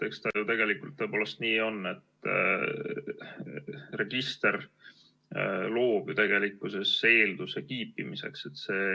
Eks ta ju tegelikult tõepoolest nii on, et register loob eelduse kiipimiseks.